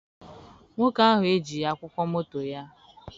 Nwoke ahụ ejighị akwụkwọ moto ya.